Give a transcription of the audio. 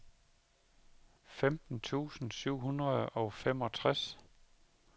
femten tusind syv hundrede og femogtres